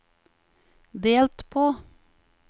delt på